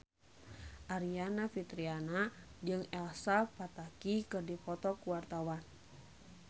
Aryani Fitriana jeung Elsa Pataky keur dipoto ku wartawan